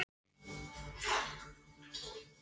Þetta er pæjan hans Nikka í kvöld.